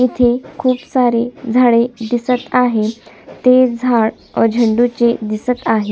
इथे खूप सारे झाड़े दिसत आहे ते झाड झेंडू चे दिसत आहे.